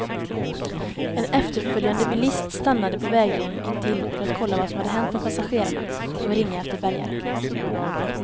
En efterföljande bilist stannade på vägrenen intill för att kolla vad som hänt med passagerarna och ringa efter bärgare.